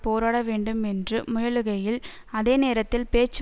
போராட வேண்டும் என்று முயலுகையில் அதே நேரத்தில் பேச்சு